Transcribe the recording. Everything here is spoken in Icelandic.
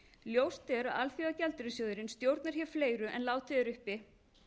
ljóst er að alþjóðagjaldeyrissjóðurinn stjórnar hér fleiru en látið er uppi